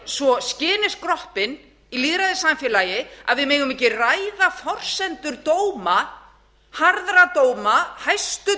svo skyni skroppin í lýðræðissamfélagi að við megum ekki ræða forsendur dóma harðra dóma hæstu